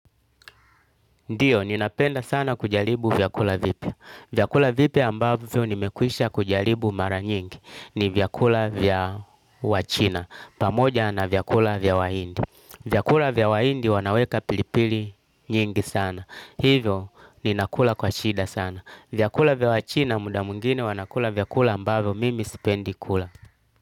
Ndiyo, ninapenda sana kujaribu vyakula vipi. Vyakula vipi ambavyo nimekwisha kujaribu mara nyingi ni vyakula vya wachina. Pamoja na vyakula vya wahindi. Vyakula vyawahindi wanaweka pilipili nyingi sana. Hivyo, ninakula kwa shida sana. Vyakula vya wachina muda mwingine wanakula vyakula ambavyo mimi sipendi kula.